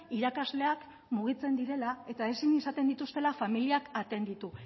irakasleak mugitzen direla eta ezin izaten dituztela familiak atenditu